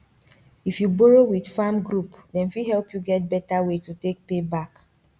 if you borrow with farm group dem fit help you get better way to take pay back